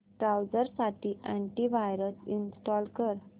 browser साठी antivirus install कर